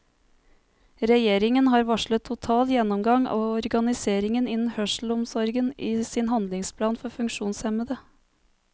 Regjeringen har varslet total gjennomgang av organiseringen innen hørselsomsorgen i sin handlingsplan for funksjonshemmede.